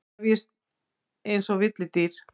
Krefjist einsog villidýr.